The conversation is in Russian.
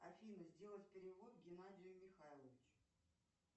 афина сделать перевод геннадию михайловичу